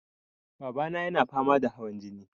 Babana yana fama da hawan jini.